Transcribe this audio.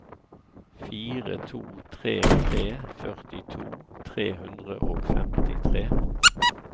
fire to tre tre førtito tre hundre og femtitre